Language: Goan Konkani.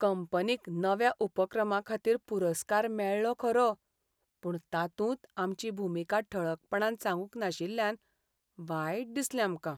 कंपनीक नव्या उपक्रमाखातीर पुरस्कार मेळ्ळो खरो पूण तातूंत आमची भुमिका ठळकपणान सांगूंक नाशिल्ल्यान वायट दिसलें आमकां.